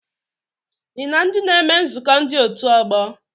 Ị na ndị na-eme nzukọ ndị otu ọgbọ?